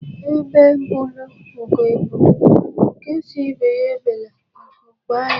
Egbe belụ Ugo belụ, nke sị ibe ya ebela, nku kwaa ya.